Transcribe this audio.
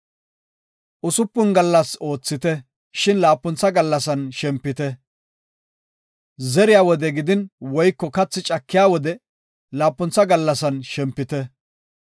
“Usupun gallas oothite, shin laapuntha gallasan shempite. Zeriya wode gidin woyko kathaa cakiya wode laapuntha gallasan shempite.